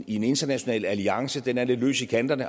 i en international alliance den er lidt løs i kanterne